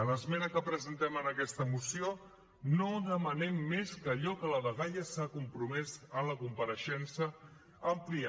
a l’esmena que presentem en aquesta moció no demanem més que allò a què la dgaia s’ha compromès a la compareixença ampliar